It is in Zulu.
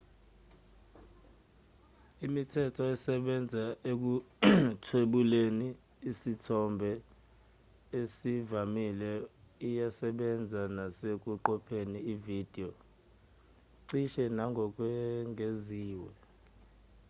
imithetho esebenza ekuthwebuleni isithombe esivamile iyasebenza nesekuqopheni ividiyo cishe nangokwengeziwe